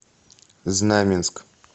знаменск